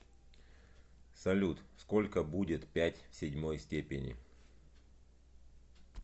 салют сколько будет пять в седьмой степени